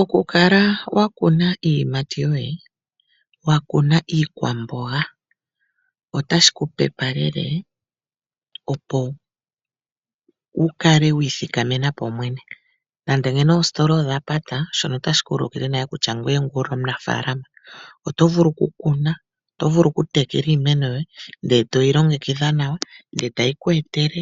Okukala wakuna iiyimati yoye, wakuna iikwamboga otashi kupepalele opo wukale wiithikamena po mwene, nande ngeno oositola odha pata shono otashi ku ulikile nale kutya ngoye onga omunafaalama oto vulu oku kuna, oto vulu okutekela iimeno yoye ndele toyi longekidha nawa, ndele tayi ku etele